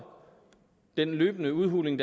den løbende udhuling